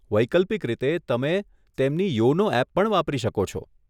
વૈકલ્પિક રીતે, તમે તેમની યોનો એપ પણ વાપરી શકો છો.